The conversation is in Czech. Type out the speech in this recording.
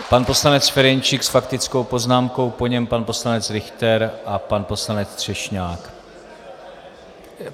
Pan poslanec Ferjenčík s faktickou poznámkou, po něm pan poslanec Richter a pan poslanec Třešňák.